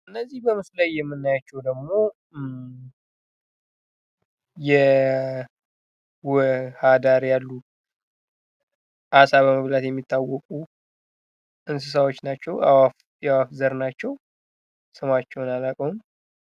እነዚህ በምስሉ ላይ የምናያቸው ደግሞ የውሃ ዳር ያሉ አሳ በመብላት የሚታወቁ እንስሳዎች ናቸው። የአዋፍ ዘር ናቸው። ስማቸውን አላቀውም።